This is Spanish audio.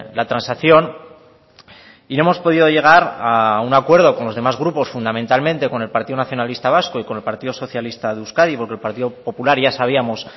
la transacción y no hemos podido llegar a un acuerdo con los demás grupos fundamentalmente con el partido nacionalista vasco y con el partido socialista de euskadi porque el partido popular ya sabíamos